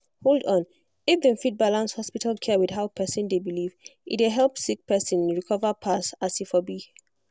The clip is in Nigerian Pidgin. hold on if dem fit balance hospital care with how person dey believe e dey help sick person recover pass as e for be.